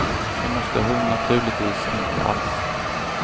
Det måste hon naturligtvis inte alls.